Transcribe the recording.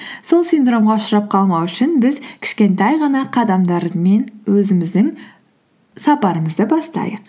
сол синдромға ұшырап қалмау үшін біз кішкентай ғана қадамдармен өзіміздің сапарымызды бастайық